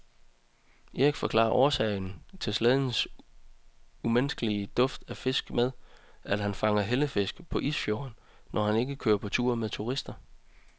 Erik forklarer årsagen til slædens umiskendelige duft af fisk med, at han fanger hellefisk på isfjorden, når han ikke kører på tur med turister.